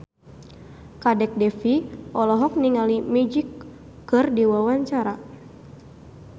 Kadek Devi olohok ningali Magic keur diwawancara